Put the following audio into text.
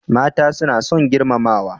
Mata suna son girmamawa.